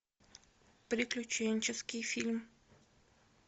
приключенческий фильм